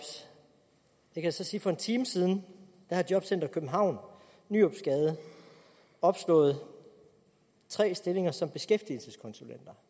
jeg kan så sige at for en time siden havde jobcenter københavn i nyropsgade opslået tre stillinger som beskæftigelseskonsulenter